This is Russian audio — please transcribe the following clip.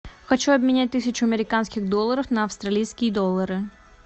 хочу обменять тысячу американских долларов на австралийские доллары